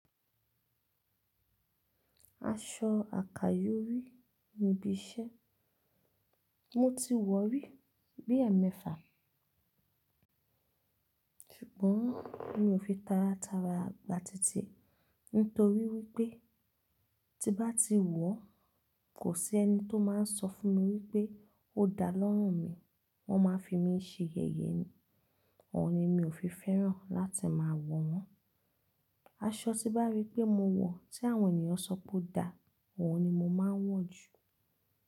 Aṣọ àkàyòrí ni bí iṣẹ́. Mo ti wọ̀ rí bí ẹ̀mẹfa, ṣùgbọ́n mi ò fi tara tara gba títí ẹ, nítorí wípé tí bá ti wọ̀ kò sí ẹni tó máa n sọ fún mi wípé ó dá lọ́rùn mi. Wọn máa fi mi ṣe yẹ̀yẹ́ ni, ọ̀ọ̀ni mi ò fi fẹ́ràn láti máa wọ̀ wọ́n. Aṣọ tí bá rí pé mo wọ̀ tí àwọn ènìyàn ṣọ pé ó dá, ọ̀ọ̀ni mo máa ń wọ̀ jù.